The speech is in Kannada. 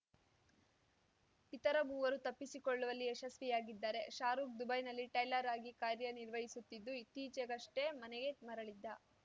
ಇತರ ಮೂವರು ತಪ್ಪಿಸಿಕೊಳ್ಳುವಲ್ಲಿ ಯಶಸ್ವಿಯಾಗಿದ್ದಾರೆ ಶಾರುಖ್‌ ದುಬೈನಲ್ಲಿ ಟೈಲರ್ ಆಗಿ ಕಾರ್ಯನಿರ್ವಹಿಸುತ್ತಿದ್ದು ಇತ್ತೀಚೆಗಷ್ಟೇ ಮನೆಗೆ ಮರಳಿದ್ದ